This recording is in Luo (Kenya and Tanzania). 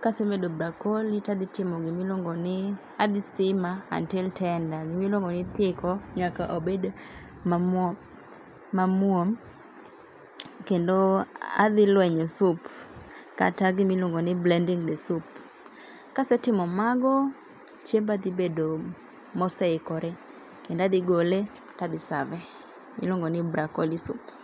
Kasemedo brokoli tadhi timo gima iluongo ni adhi simmer until tender. Gima iluongo ni kiko nyaka obed mamuom. Kendo adhi lwenyo soup kata gima iluongo ni blending the soup. Kasetimo mago, chiemba dhi bedo moseikore, kendo adhi gole tadhi serve e. Iluongo ni brokoli soup.